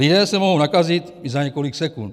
Lidé se mohou nakazit i za několik sekund.